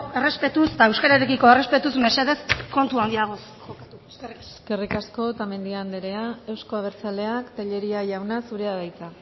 errespetuz eta euskararekiko errespetuz mesedez kontu handiagoz jokatu eskerrik asko eskerrik asko otamendi anderea euzko abertzaleak tellería jauna zurea da hitza